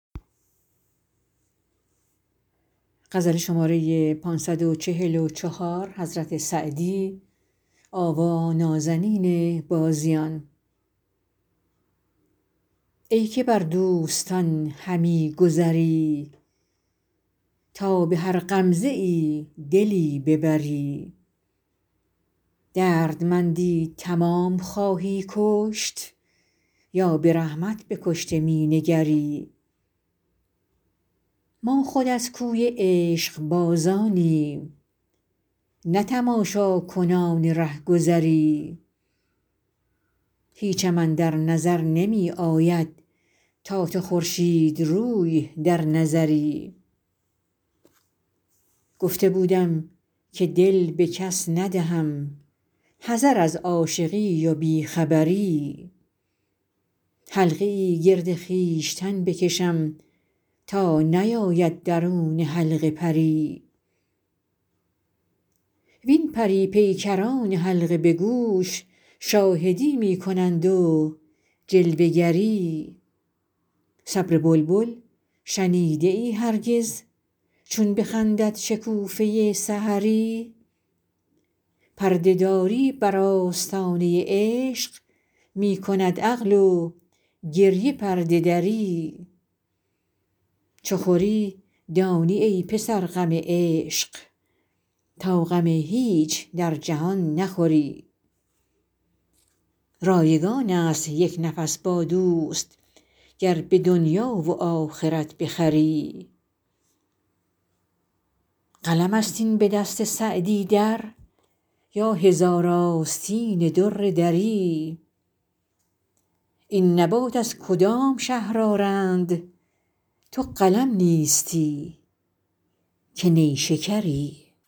ای که بر دوستان همی گذری تا به هر غمزه ای دلی ببری دردمندی تمام خواهی کشت یا به رحمت به کشته می نگری ما خود از کوی عشقبازانیم نه تماشاکنان رهگذری هیچم اندر نظر نمی آید تا تو خورشیدروی در نظری گفته بودم که دل به کس ندهم حذر از عاشقی و بی خبری حلقه ای گرد خویشتن بکشم تا نیاید درون حلقه پری وین پری پیکران حلقه به گوش شاهدی می کنند و جلوه گری صبر بلبل شنیده ای هرگز چون بخندد شکوفه سحری پرده داری بر آستانه عشق می کند عقل و گریه پرده دری چو خوری دانی ای پسر غم عشق تا غم هیچ در جهان نخوری رایگان است یک نفس با دوست گر به دنیا و آخرت بخری قلم است این به دست سعدی در یا هزار آستین در دری این نبات از کدام شهر آرند تو قلم نیستی که نیشکری